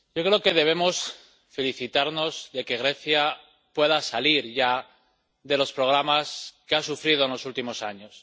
Señora presidenta, yo creo que debemos felicitarnos de que Grecia pueda salir ya de los programas que ha sufrido en los últimos años.